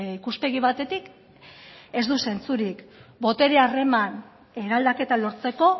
ikuspegi batetik ez du zentzurik botere harreman eraldaketa lortzeko